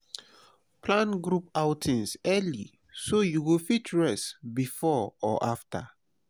plan group outings early so you go fit rest before or after.